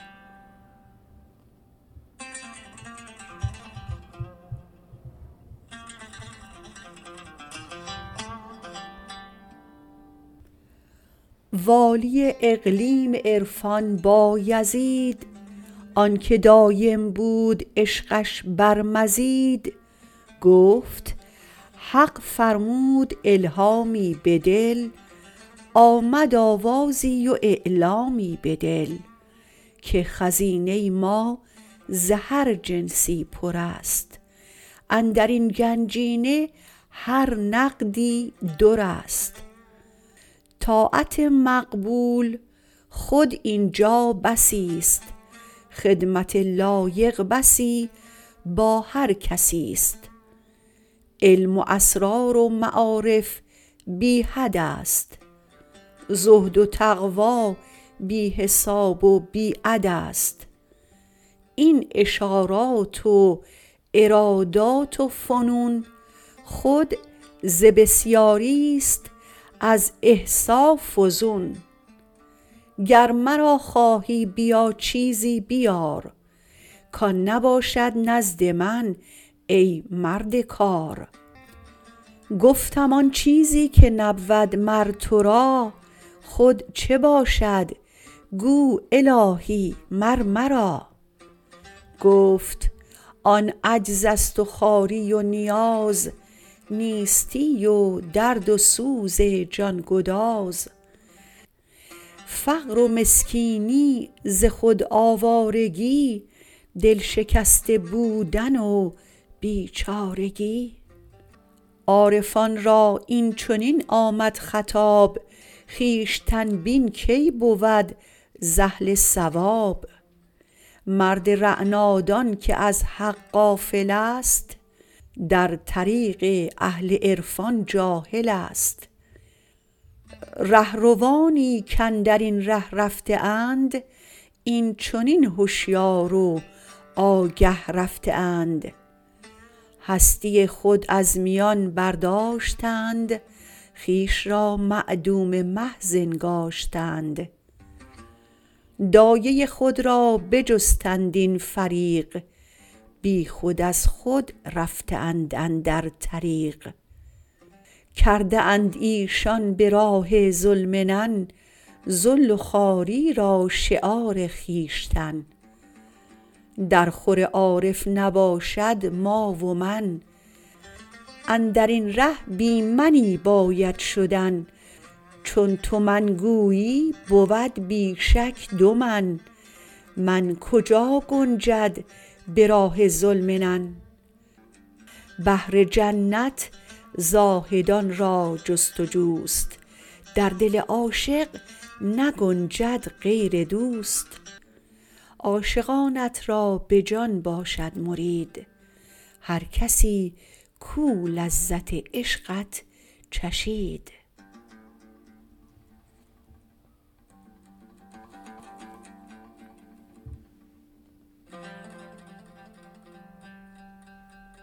والی اقلیم عرفان بایزید آنکه دایم بود عشقش بر مزید گفت حق فرمود الهامی بدل آمد آوازی و اعلامی بدل که خزینه ما ز هر جنسی پر است اندرین گنجینه هر نقدی دراست طاعت مقبول خود اینجا بسی است خدمت لایق بسی با هر کسی است علم و اسرار و معارف بی حد است زهد و تقوی بی حساب و بیعداست این اشارات و ارادات و فنون خود ز بسیاریست از احصاء فزون گر مرا خواهی بیا چیزی بیار کان نباشد نزد من ای مرد کار گفتم آن چیزی که نبود مر ترا خود چه باشد گو الهی مر مرا گفت آن عجز است و خواری و نیاز نیستی و درد و سوز جانگداز فقر و مسکینی ز خود آوارگی دلشکسته بودن و بیچارگی عارفان را اینچنین آمد خطاب خویشتن بین کی بود ز اهل صواب مرد رعنا دان که از حق غافلست در طریق اهل عرفان جاهلست رهروانی کاندرین ره رفته اند اینچنین هشیار و آگه رفته اند هستی خود از میان برداشتند خویش را معدوم محض انگاشتند دایۀ خود را بجستند این فریق بیخود از خود رفته اند اندر طریق کرده اند ایشان به راه ذوالمنن ذل و خواری را شعار خویشتن در خور عارف نباشد ما و من اندرین ره بی منی باید شدن چون تو من گویی بود بی شک دو من من کجا گنجد به راه ذوالمنن بهر جنت زاهدان را جست و جوست در دل عاشق نگنجد غیر دوست عاشقانت را به جان باشد مرید هر کسی کو لذت عشقت چشید